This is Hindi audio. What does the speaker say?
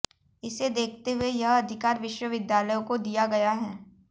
इसे देखते हुए यह अधिकार विश्वविद्यालयों को दिया गया है